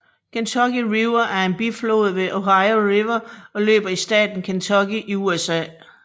Kentucky River er en biflod til Ohio River og løber i staten Kentucky i USA